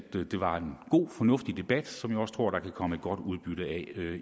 det var en god fornuftig debat som jeg også tror der kan komme et godt udbytte af